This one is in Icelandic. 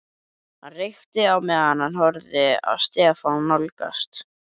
Hann reykti á meðan hann horfði á Stefán nálgast.